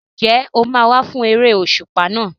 Ǹjẹ́ o máa wá fún eré òṣùpá náà?